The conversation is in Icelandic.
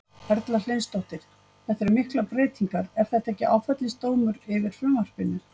Erla Hlynsdóttir: Þetta eru miklar breytingar, er þetta ekki áfellisdómur yfir frumvarpinu?